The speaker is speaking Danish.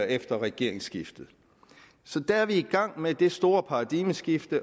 efter regeringsskiftet så der er vi i gang med det store paradigmeskift